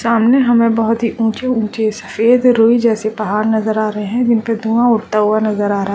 सामने हमें बहुत ही ऊंचे-ऊंचे से रुई जैसे पहाड़ नज़र आ रहें हैं जिनमें से धुआ उठते हुए नज़र आ रहा है।